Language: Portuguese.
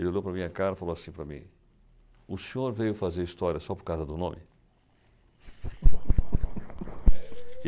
Ele olhou para a minha cara e falou assim para mim, o senhor veio fazer História só por causa do nome?